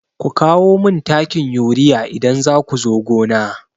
Ku kawo min takin urea idan za ku zo gona!